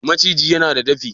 maciji yana da dafi?